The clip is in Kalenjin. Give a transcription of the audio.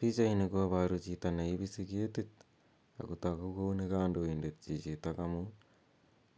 Pichaini koparu chito ne ipisi ketik ako tagu kou ni kandoindet chichitok amun